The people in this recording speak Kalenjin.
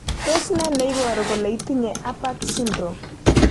Tos ne kit neiporu kole itinye Apert syndrome?